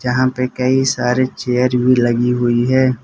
यहां पे कई सारे चेयर भी लगी हुई है।